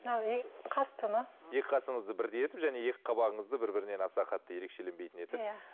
қасты ма екі қасыңызды бірдей етіп және екі қабағыңызды бір бірінен аса қатты ерекшеленбейтін етіп